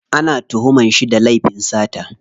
Ana tuhuman shi da laifin sata.